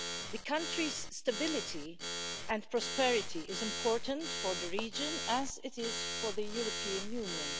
The country's stability and prosperity is important for the region, as it is for the European Union.